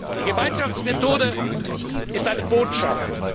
Die Gemeinschaftsmethode ist eine Botschaft.